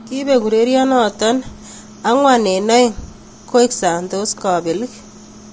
Kipek ureriet noto 4-2 koek Santos kapelik.